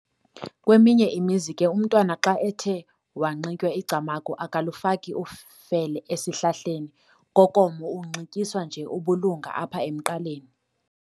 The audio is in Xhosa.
Kweminye imizi ke umntwana xa ethe wanxitywa icamagu akalufaki ufele esihlahleni Kokomo unxityiswa nje ubulunga apha emqaleni.